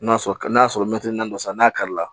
N'a sɔrɔ n'a sɔrɔ naani dɔ san n'a kari la